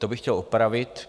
To bych chtěl opravit.